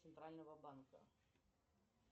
центрального банка